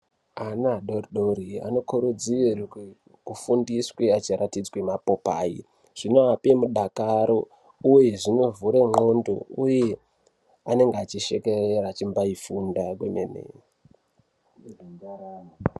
Ana adoridori anokurudzirwe kufundiswe achiratidzwe mapopai. Zvinoape mudakaro, uye zvinovhure ndxondo, uye angenge achishekerera eichimbai funda kemene.